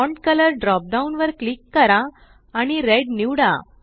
font colour drop down वर click करा आणि रेड निवडा